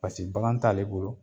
Paseke bagan t'a ale bolo